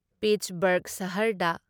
ꯄꯤꯠꯁꯕꯔꯒ ꯁꯍꯔꯗ